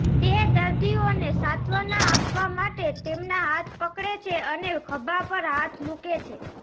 તે દર્દીઓને સાંત્વના આપવા માટે તેમના હાથ પકડે છે અને ખભા પર હાથ મૂકે છે